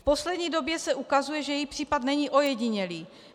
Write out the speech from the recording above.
V poslední době se ukazuje, že její případ není ojedinělý.